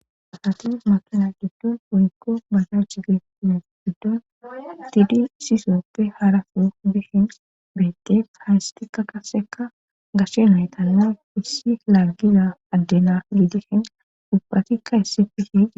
Asatin makina giddon uykko basha cigeine giddoon tidi sisooppe harafu bihin beettef haystikka kaseka gashe maytanne issi laaggiza addena lidihen dubphatikka issi pihe